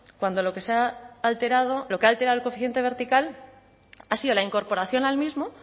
cuando lo que ha alterado el coeficiente vertical ha sido la incorporación al mismo